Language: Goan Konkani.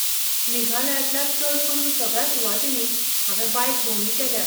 मेघालयांतल्या चड करून सगळ्या सुवातींनी हांवें बायक भोंवडी केल्या.